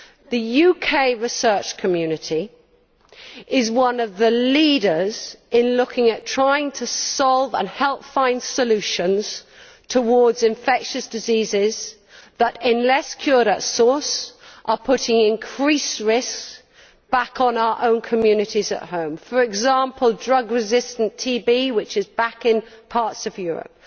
The UK research community is one of the leaders in trying to solve and help find solutions for infectious diseases that unless cured at source are putting increased risks back on our own communities at home, for example drug resistant TB, which is back in parts of Europe.